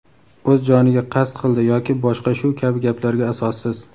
O‘z joniga qasd qildi yoki boshqa shu kabi gaplarga asossiz.